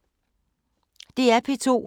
DR P2